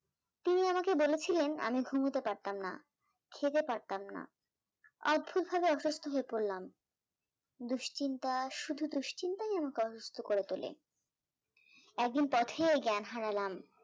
উনি আমাকে বলেছিলেন আমি ঘুমোতে পারতাম না, খেতে পারতাম না, অদ্ভুত ভাবে অসুস্থ হয়ে পড়লাম, দুশ্চিন্তা শুধু দুশ্চিন্তাই আমাকে অসুস্থ করে তোলে, একদিন পথেই জ্ঞান হারালাম